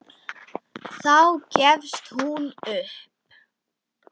Þá gefst hún upp.